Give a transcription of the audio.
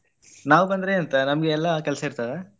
ನಾವ್ ಬಂದ್ರೆ ಎಂತ ನಮ್ಗೆ ಎಲ್ಲಾ ಕೆಲ್ಸ ಇರ್ತದ?